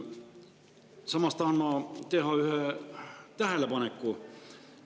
Samas tahan ma teha ühe tähelepaneku.